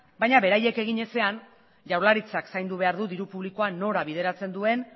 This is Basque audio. baina beraiek egin ezean jaurlaritzak zaindu behar du diru publikoa nora bideratzen duen